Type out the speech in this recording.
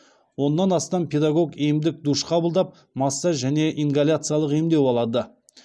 оннан астам педагог емдік душ қабылдап массаж және ингаляциялық емдеу алады